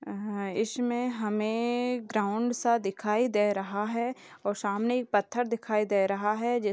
अ ह इसमे हमें ग्राउन्ड सा दिखाई दे रहा है और सामने इक पत्थर दिखाई दे रहा है जि --